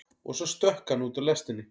Og svo stökk hann út úr lestinni.